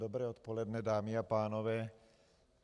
Dobré odpoledne, dámy a pánové.